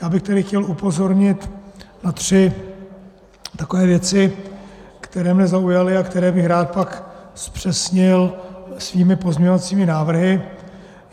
Já bych tedy chtěl upozornit na tři takové věci, které mne zaujaly a které bych rád pak zpřesnil svými pozměňovacími návrhy.